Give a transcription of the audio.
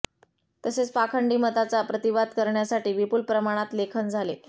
तसेच पाखंडी मताचा प्रतिवाद करण्यासाठी विपुल प्रमाणात लेखन झाले